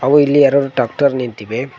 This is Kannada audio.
ಹಾಗು ಇಲ್ಲಿ ಎರಡು ಟಾಕ್ಟರ ನಿಂತಿವೆ.